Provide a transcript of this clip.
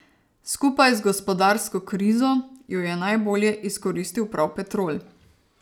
Skupaj z gospodarsko krizo jo je najbolje izkoristil prav Petrol.